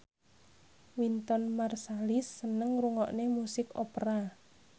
Wynton Marsalis seneng ngrungokne musik opera